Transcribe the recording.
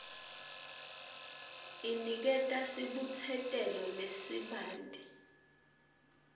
iniketa sibutsetelo lesibanti